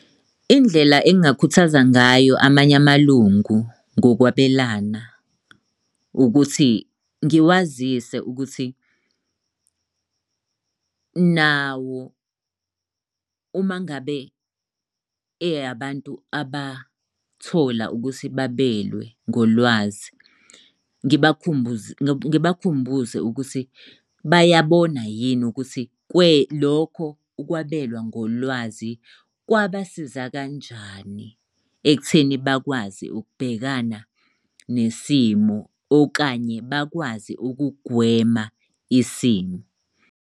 Indlela engingakhuthaza ngayo amanye amalungu ngokwabelana, ukuthi ngiwazise ukuthi nawo uma ngabe eyabantu abathola ukuthi babelwe ngolwazi, ngibakhumbuze, ngibakhumbuze ukuthi, bayabona yini ukuthi lokho ukwabelwa ngolwazi kwabasiza kanjani ekutheni bakwazi ukubhekana nesimo okanye bakwazi ukugwema isimo.